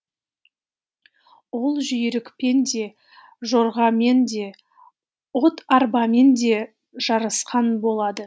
ол жүйрікпен де жорғамен де от арбамен де жарысқан болады